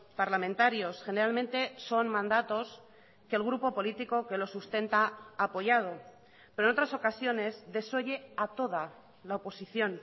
parlamentarios generalmente son mandatos que el grupo político que lo sustenta ha apoyado pero en otras ocasiones desoye a toda la oposición